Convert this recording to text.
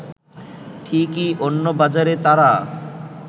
ঠিকই অন্য বাজারে তারা